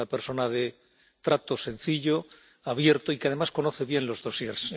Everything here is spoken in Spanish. Es una persona de trato sencillo, abierto y que además conoce bien los expedientes.